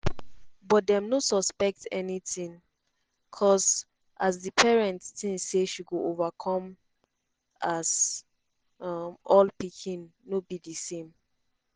but dem no suspect anytin um as di parents tink say she go overcome as um all pikin no be di same.